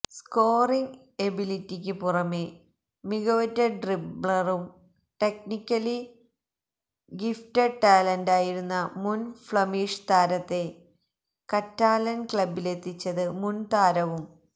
scoring എബിലിറ്റിക്ക് പുറമേ മികവുറ്റ ഡ്രിബ്ലറും ടെക്നിക്കലി ഗിഫറ്റഡ് ടാലന്റായിരുന്ന മുൻ ഫ്ലമീഷ് താരത്തെ കറ്റാലൻ ക്ലബിലെത്തിച്ചത് മുൻ താരവും